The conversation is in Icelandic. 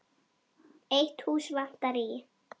Eitt hús vantar í